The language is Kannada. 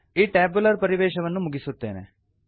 ಈ ಟ್ಯಾಬ್ಯುಲರ್ ಪರಿವೇಶವನ್ನು ಮುಗಿಸುತ್ತಿದ್ದೇನೆ